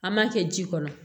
An m'a kɛ ji kɔnɔ